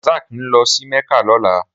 Rasak n lò si Mecca lòlá